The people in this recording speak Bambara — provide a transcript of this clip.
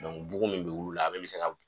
bugu min bɛ wil'u la a bɛɛ bɛ se ka